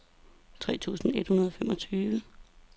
tre tusind et hundrede og femogtyve